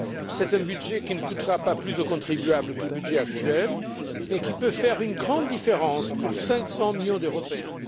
C'est un budget qui ne coûtera pas plus au contribuable que le budget actuel mais qui peut faire une grande différence pour 500 millions d'Européens.